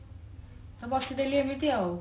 ବସି ଦେଲି ଏମିତି ଆଉ